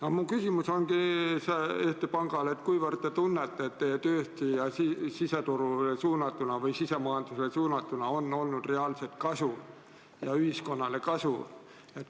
Aga mu küsimus Eesti Pangale on selle kohta, kuivõrd te tunnete, et teie tööst siseturule või sisemajandusele suunatuna on reaalselt olnud ühiskonnal kasu.